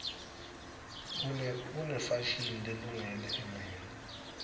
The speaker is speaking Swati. kunefashini lelungele emini